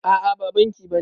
A'a ba banki bane